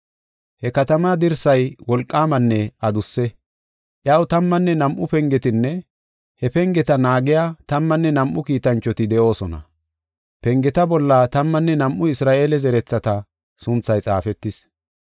He katamaa dirsay wolqaamanne adusse. Iyaw tammanne nam7u pengetinne he pengeta naagiya tammanne nam7u kiitanchoti de7oosona. Pengeta bolla tammanne nam7u Isra7eele zerethata sunthay xaafetis.